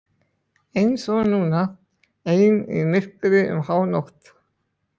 Eins og núna, ein í myrkri um hánótt.